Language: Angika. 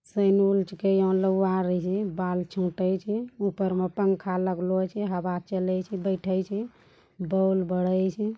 बाल उप्पर में पंखा लागलो छे हवा चले छे बइठे छे बल्ब बरई छे।